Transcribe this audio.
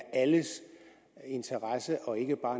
alles interesse og ikke bare